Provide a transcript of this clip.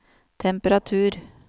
temperatur